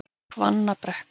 Hvannabrekku